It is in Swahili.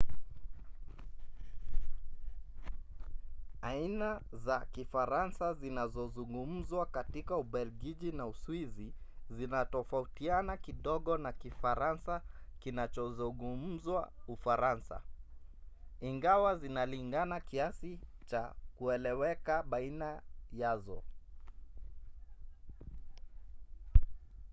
aina za kifaransa zinazozungumzwa katika ubelgiji na uswizi zinatofautiana kidogo na kifaransa kinachozungumzwa ufaransa ingawa zinalingana kiasi cha kueleweka baina yazo